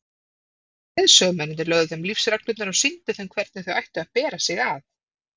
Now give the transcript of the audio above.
Leiðsögumennirnir lögðu þeim lífsreglurnar og sýndu þeim hvernig þau ættu að bera sig að.